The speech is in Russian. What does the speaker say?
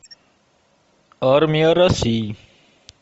армия россии